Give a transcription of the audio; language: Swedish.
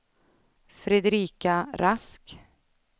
Fredrika Rask